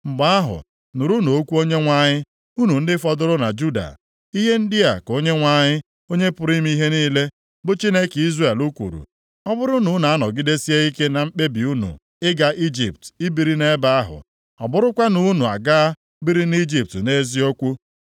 mgbe ahụ, nụrụnụ okwu Onyenwe anyị, unu ndị fọdụrụ na Juda. Ihe ndị a ka Onyenwe anyị, Onye pụrụ ime ihe niile, bụ Chineke Izrel kwuru, ‘Ọ bụrụ na unu anọgidesie ike na mkpebi unu ịga Ijipt ibiri nʼebe ahụ, ọ bụrụkwa na unu agaa biri nʼIjipt nʼeziokwu,